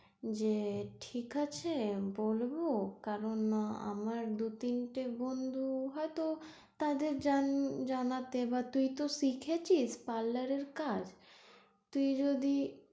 যে ঠিক আছে বলবো কারন আমার দু তিনটে বন্ধু হয়ত তাদের জান~জানাতে বা তাইতো শিখেছিস parlour এর কাজ তুই যদি,